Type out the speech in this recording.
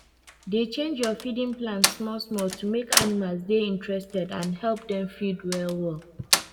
dey change your feeding plans smallsmall to make animals dey interested and help them feed well well